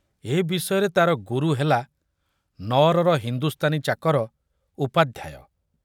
ଏ ବିଷୟରେ ତାର ଗୁରୁ ହେଲା ନଅରର ହିନ୍ଦୁସ୍ତାନୀ ଚାକର ଉପାଧ୍ୟାୟ।